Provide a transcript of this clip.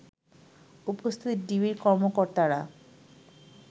উপস্থিত ডিবির কর্মকর্তারা